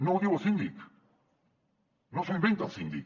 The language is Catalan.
no ho diu el síndic no s’ho inventa el síndic